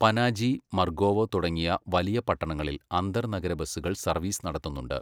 പനാജി, മർഗോവോ തുടങ്ങിയ വലിയ പട്ടണങ്ങളിൽ അന്തർ നഗര ബസുകൾ സർവീസ് നടത്തുന്നുണ്ട്.